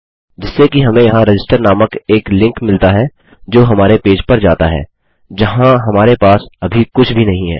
जिससे कि हमें यहाँ रजिस्टर नामक एक लिंक मिलता है जो हमारे पेज पर जाता है जहाँ हमारे पास अभी कुछ भी नही है